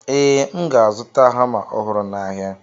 Ee, M ga-azụta hama ọhụrụ n'ahịa.